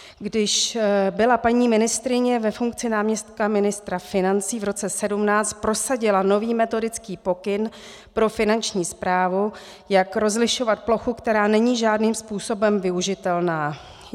Když byla paní ministryně ve funkci náměstkyně ministra financí, v roce 2017 prosadila nový metodický pokyn pro Finanční správu, jak rozlišovat plochu, která není žádným způsobem využitelná.